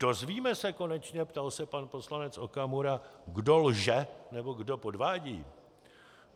Dozvíme se konečně, ptal se pan poslanec Okamura, kdo lže nebo kdo podvádí?